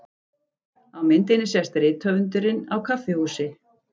Á myndinni sést rithöfundurinn á kaffihúsi.